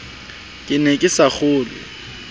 ke ne ke sa kgolwe